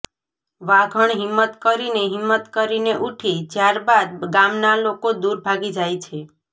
વાઘણ હિમ્મત કરીને હિમ્મત કરીને ઉઠી જ્યાર બાદ ગામના લોકો દૂર ભાગી જાય છે